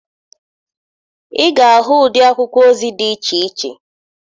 Ị ga-ahụ ụdị akwụkwọ ozi dị iche iche.